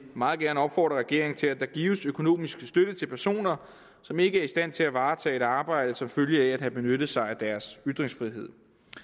meget gerne opfordre regeringen til at der gives økonomisk støtte til personer som ikke er i stand til at varetage et arbejde som følge af at have benyttet sig af deres ytringsfrihed